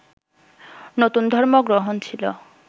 নতুন ধর্ম গ্রহণ ছিল